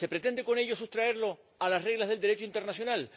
¿Se pretende con ello sustraerlo a las reglas del Derecho internacional?